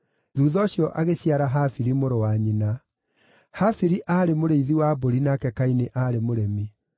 Thuutha ũcio agĩciara Habili, mũrũ wa nyina. Habili aarĩ mũrĩithi wa mbũri nake Kaini aarĩ mũrĩmi.